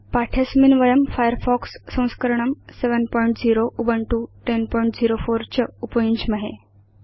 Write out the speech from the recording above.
पाठे अस्मिन् वयं फायरफॉक्स संस्करणं 70 Ubuntu 1004 च उपयुञ्ज्महे